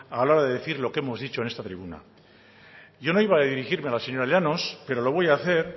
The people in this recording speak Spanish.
a la hora de decir lo que hemos dicho en esta tribuna yo no iba a dirigirme a la señora llanos pero lo voy a hacer